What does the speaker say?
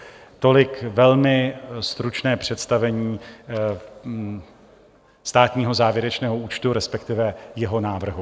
Tolik velmi stručné představení státního závěrečného účtu, respektive jeho návrhu.